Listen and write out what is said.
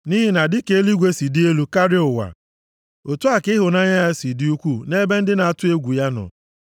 Nʼihi na dịka eluigwe si dị elu karịa ụwa, otu a ka ịhụnanya ya si dị ukwuu nʼebe ndị na-atụ egwu ya nọ.